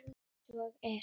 Svo er